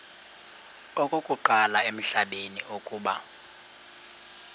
okokuqala emhlabeni uba